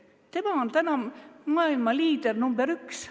Tema on täna maailma liider number üks.